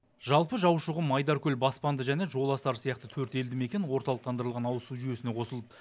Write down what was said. жалпы жаушықұм айдаркөл баспанды және жоласар сияқты төрт елдімекен орталықтандырылған ауызсу жүйесіне қосылды